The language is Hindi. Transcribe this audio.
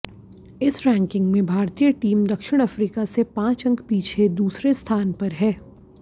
इस रैंकिंग में भारतीय टीम दक्षिण अफ्रीका से पांच अंक पीछे दूसरे स्थान पर है